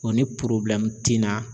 Wa ni ti na